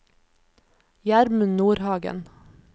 Gjermund Nordhagen